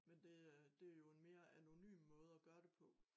Men det er det jo en mere anonym måde at gøre det på